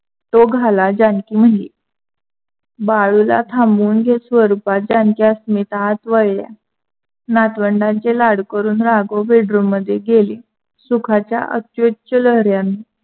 तो घाला जानकी म्हनली. बाळुला थांबवून घेत स्वरूपा जानकी अस्मिता आत वळल्या. नातवंडांचे लाड करून राघव बेडरूममध्ये गेले सुखाच्या अत्युच लहऱ्यांनी